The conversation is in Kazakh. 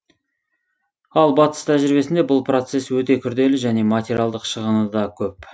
ал батыс тәжірибесінде бұл процесс өте күрделі және материалдық шығыны да көп